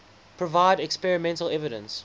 provide experimental evidence